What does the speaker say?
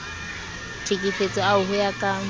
tlhekefetso ao ho ya ka